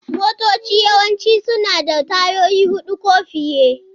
Motoci yawanci suna da tayoyi huɗu ko fiye.